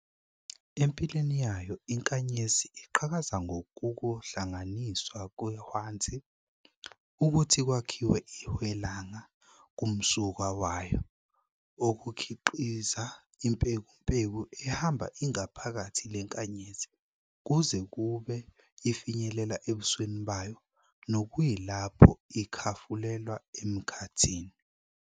Empilweni yayo, iNkanyezi iqhakaza ngokukuhlanganiswa kweHwanzi ukuthi kwakhiwe iHwelanga kumsuka wayo, okukhiqiza imPekumpeku ehamba ingaphakathi leNkanyezi kuze kube ifinyelela ebusweni bayo, nokuyilapho ikhafulelwa emKhathini.